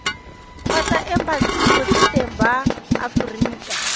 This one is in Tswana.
kgotsa embasing botseteng ba aforika